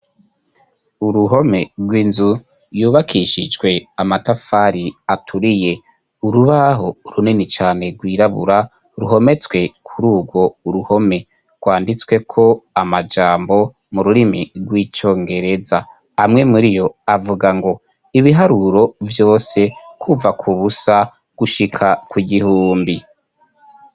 Uruhome rw'inzu yubakishijwe amatafari aturiye. Urubaho runini cane rwirabura ruhometswe kuri urwo ruhome. Rwanditsweko amajambo mu rurimi rw'icongereza . Amwe muriyo avuga ngo ibiharuro vyose kuva ku busa gushika ku gihumbi.